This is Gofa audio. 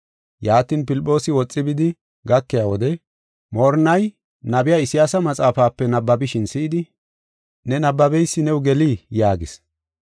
Yaatin Filphoosi woxi bidi gakiya wode moorinnay nabiya Isayaasa maxaafape nabbabishin si7idi, “Ne nabbabeysi new gelii?” yaagis.